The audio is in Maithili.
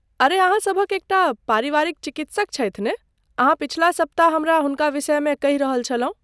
अरे अहाँ सभक एकटा परिवारिक चिकित्सक छथि ने? अहाँ पछिला सप्ताह हमरा हुनका विषयमे कहि रहल छलहुँ।